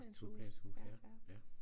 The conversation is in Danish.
Også toplanshus ja ja